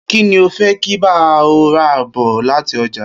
Kí ni o fé̩ kí n bá o̩ rà bò̩ láti o̩jà?